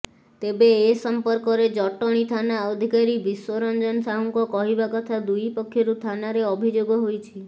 ତେବେ ଏ ସମ୍ପର୍କରେ ଜଟଣୀ ଥାନା ଅଧିକାରୀ ବିଶ୍ୱରଞ୍ଜନ ସାହୁଙ୍କ କହିବା କଥା ଦୁଇପକ୍ଷରୁ ଥାନାରେ ଅଭିଯୋଗ ହୋଇଛି